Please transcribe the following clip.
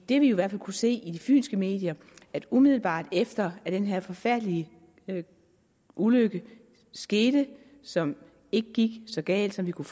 det vi i hvert fald kunne se i de fynske medier umiddelbart efter den her forfærdelige ulykke skete som ikke gik så galt som vi kunne